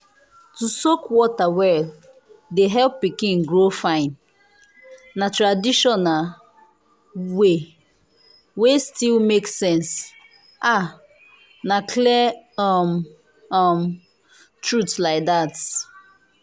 to soak water well dey help pikin grow fine. na traditional way wey still make sense um na clear um um truth like that.